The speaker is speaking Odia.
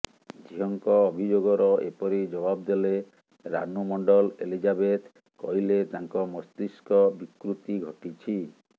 ଝିଅଙ୍କ ଅଭିଯୋଗର ଏପରି ଜବାବ ଦେଲେ ରାନୁ ମଣ୍ଡଲ ଏଲିଜାବେଥ କହିଲେ ତାଙ୍କ ମସ୍ତିଷ୍କ ବିକୃତି ଘଟିଛି